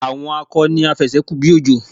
Àwọn akọ ni afẹ̀sẹ́-kù-bí-òjò.